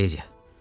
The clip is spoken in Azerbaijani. Valeriya.